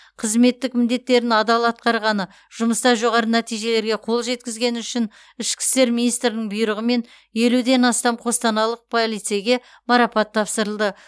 қызметтік міндеттерін адал атқарғаны жұмыста жоғары нәтижелерге қол жеткізгені үшін ішкі істер министрінің бұйрығымен елуден астам қостанайлық полицейге марапат тапсырылды